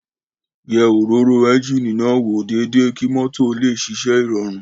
Yẹ òróró ẹ́ńjíìnì náà wò déédéé kí mọ́tò ó lè ṣiṣẹ́ ìrọ̀rùn